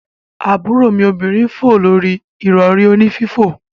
Aburo mi obinrin n fo lori irori oni fifo.